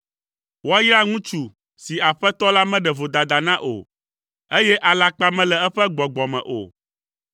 Woayra ŋutsu si Aƒetɔ la meɖe vodada na o, eye alakpa mele eƒe gbɔgbɔ me o.